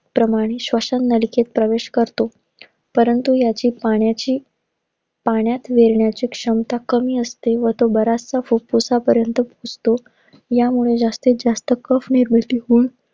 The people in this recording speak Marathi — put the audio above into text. प्रमाणे श्वसननलिकेत प्रवेश करतो. परंतु ह्याची पाण्याची पाण्यात वेलण्याची क्षमता कमी असते व तोच बराचसा फुफुसापर्यंत घुसतो. ह्यामुळे जास्तीत-जास्त cough निर्मिती होऊन,